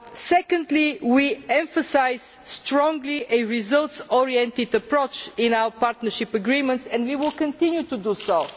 Secondly, we strongly emphasise a results oriented approach in our partnership agreements and we will continue to so.